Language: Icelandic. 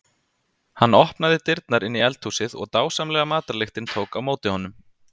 Hann opnaði dyrnar inn í eldhúsið og dásamleg matarlyktin tók á móti honum.